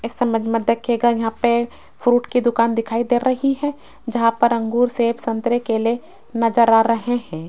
इस इमेज में देखिएगा यहां पे फ्रूट की दुकान दिखाई दे रही है जहां पर अंगूर सेब संतरे केले नजर आ रहे हैं।